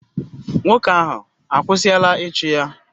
Nwoke ahụ akwụsịla ịchụ ya?